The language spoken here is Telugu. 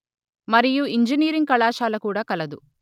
మరియు ఇంజనీరింగ్ కళాశాల కూడా కలదు